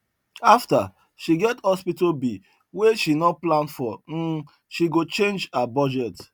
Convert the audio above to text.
after she get hospital bill wey she no plan for hmm she go change her budget